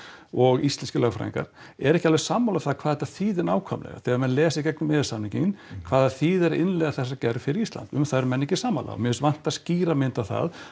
og íslenskir lögfræðingar eru ekki alveg sammála um það hvað þetta þýði nákvæmlega þegar menn lesa í gegnum e e s samninginn hvað það þýðir að innleiða þessa gerð fyrir Ísland um það eru menn ekki sammála og mér finnst vanta skýra mynd á það